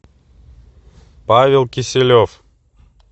павел киселев